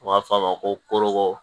U b'a fɔ a ma ko